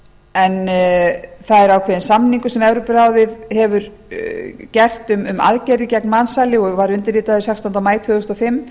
en það er ákveðinn samningur sem evrópuráðið hefur gert um aðgerðir gegn mansali og var undirritaður sextánda maí tvö þúsund og fimm